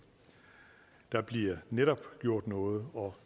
der bliver netop gjort noget og